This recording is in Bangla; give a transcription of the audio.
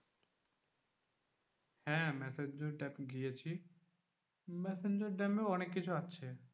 হ্যাঁ ম্যাসাঞ্জোর dam গিয়েছি। ম্যাসাঞ্জোর dam এও অনেককিছু আছে।